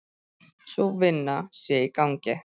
Sú vinna sé í gangi.